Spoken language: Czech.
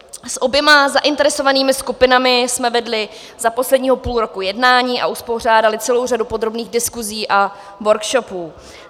S oběma zainteresovanými skupinami jsme vedli za posledního půl roku jednání a uspořádali celou řadu podrobných diskusí a workshopů.